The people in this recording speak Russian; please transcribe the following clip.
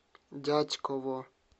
дятьково